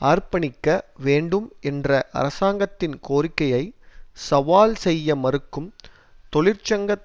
அர்ப்பணிக்க வேண்டும் என்ற அரசாங்கத்தின் கோரிக்கையை சவால் செய்ய மறுக்கும் தொழிற்சங்க